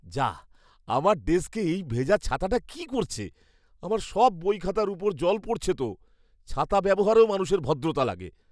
যাঃ! আমার ডেস্কে এই ভেজা ছাতাটা কী করছে? আমার সব বইখাতার উপর জল পড়ছে তো। ছাতা ব্যবহারেও মানুষের ভদ্রতা লাগে।